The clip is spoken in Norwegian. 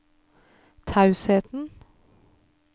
tausheten